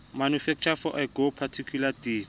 manufacturer for agoa particulars di